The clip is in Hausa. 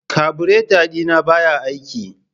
kabureta dina baya aiki.